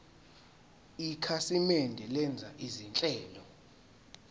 ikhasimende lenza izinhlelo